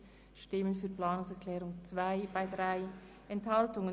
Sie haben der Planungserklärung 3 den Vorzug gegeben.